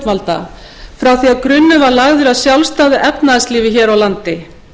sjálfstæðu efnahagslífi hér á landi í skiptum fyrir lán á